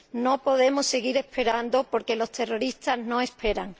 No podemos seguir esperando, porque los terroristas no esperan.